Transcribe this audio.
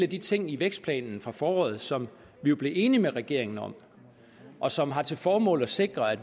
de ting i vækstplanen fra foråret som vi blev enige med regeringen om og som har til formål at sikre at